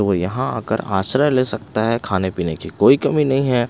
तो यहां आकर आश्रय ले सकता है खाने पीने की कोई कमी नहीं है।